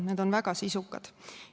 Need on väga sisukad.